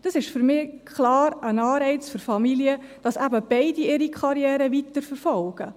Das ist für mich klar ein Anreiz für Familien, dass eben beide ihre Karrieren weiterverfolgen.